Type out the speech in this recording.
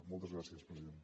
moltes gràcies president